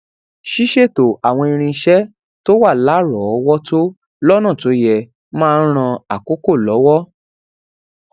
ṣíṣètò àwọn irinṣé tó wà láròówótó lónà tó ye máa n ran àkókò lowo